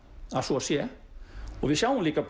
að svo sé við sjáum líka